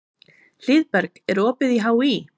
Hlíðberg, er opið í HÍ?